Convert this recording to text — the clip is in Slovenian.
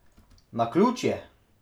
Naključje?